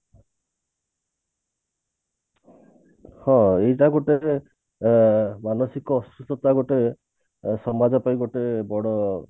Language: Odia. ହଁ ଏଇଟା ଗୋଟେ ଅ ମାନସିକ ଅସୁସ୍ଥତା ଗୋଟେ ସମାଜ ପାଇଁ ଗୋଟେ ବଡ